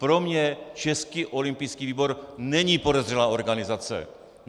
Pro mě Český olympijský výbor není podezřelá organizace.